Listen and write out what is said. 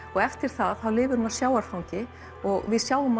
eftir það lifir hún á sjávarfangi og við sjáum